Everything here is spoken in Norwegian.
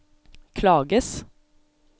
klages